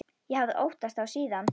Ég hafði óttast þá síðan.